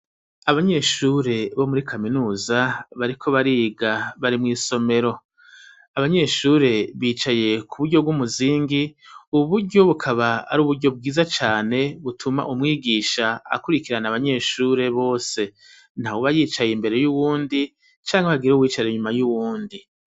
Abanyeshure bo muri kaminuza bariko bariga bari mw'isomero, abanyeshure bicaye ku buryo bw'umuzingi ubu buryo bukaba ari uburyo bwiza cane butuma umwigisha akurikirana abanyeshure bose nta uba yicaye imbere y'uwundi cangwa bagire uwicare inyuma y'uwundi.